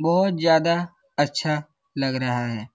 बहुत ज्यादा अच्छा लग रहा है।